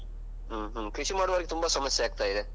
ಹ್ಮ್ ಹ್ಮ್. ಕೃಷಿ ಮಾಡುವವರಿಗೆ ತುಂಬಾ ಸಮಸ್ಯೆ ಆಗ್ತಾ ಇದೆ.